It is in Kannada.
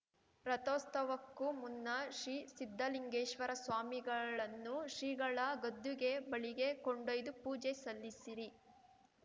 ರಥೋಸ್ತವಕ್ಕೂ ಮುನ್ನ ಶ್ರೀ ಸಿದ್ದಲಿಂಗೇಶ್ವರ ಸ್ವಾಮಿಗಳನ್ನೂ ಶ್ರೀಗಳ ಗದ್ದುಗೆ ಬಳಿಗೆ ಕೊಂಡೊಯ್ದು ಪೂಜೆ ಸಲ್ಲಿಸಿರಿ